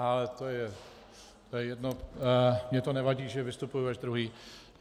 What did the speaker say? Ale to je jedno, mně to nevadí, že vystupuji až druhý.